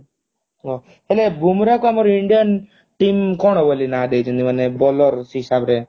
ହେଲେ ବୃମା କୁ ଆମ indian team ବୋଲି ନା ଦେଇଛନ୍ତି ମାନେ bowler ହିସାବରେ